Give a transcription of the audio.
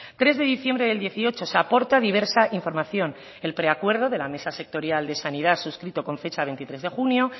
tres de diciembre del dieciocho se aporta diversa información el preacuerdo de la mesa sectorial de sanidad suscrito con fecha veintitrés de junio